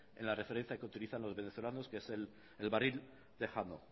en la referencia que utilizan los venezolanos que es el barril tejano